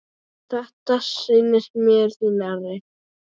Þetta stendur mér því nærri.